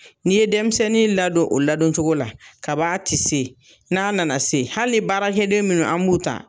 N'i ye denmisɛnnin ladon o ladon cogo la, kab'a tɛ se n'a nana se, hali baarakɛden minnu an b'u ta